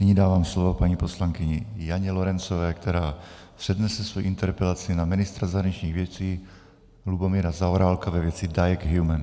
Nyní dávám slovo paní poslankyni Janě Lorencové, která přednese svoji interpelaci na ministra zahraničních věcí Lubomíra Zaorálka ve věci Diag Human.